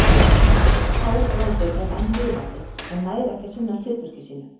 Hárrótin er enn lifandi en nær ekki að sinna hlutverki sínu.